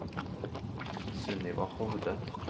Sunniva Hovde